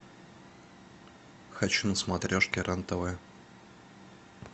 хочу на смотрешке рен тв